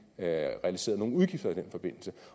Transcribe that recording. realiseret nogen udgifter i den forbindelse